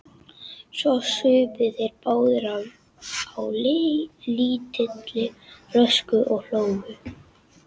Svo supu þeir báðir á lítilli flösku og hlógu.